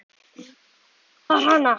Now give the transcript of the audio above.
Mig vantar hana.